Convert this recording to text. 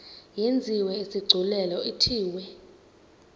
yenziwe isigculelo ithiwe